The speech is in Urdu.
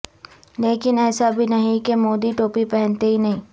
لیکن ایسا بھی نہیں کہ مودی ٹوپی پہنتے ہی نہیں